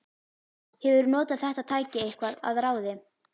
Hefurðu notað þetta tæki eitthvað að ráði?